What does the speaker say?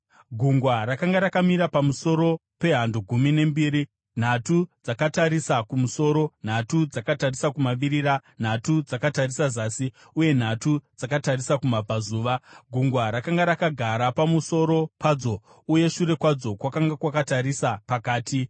Gungwa rakanga rakamira pamusoro pehando gumi nembiri, nhatu dzakatarisa kumusoro, nhatu dzakatarisa kumavirira, nhatu dzakatarisa zasi, uye nhatu dzakatarisa kumabvazuva. Gungwa rakanga rakagara pamusoro padzo uye shure kwadzo kwakanga kwakatarisa pakati.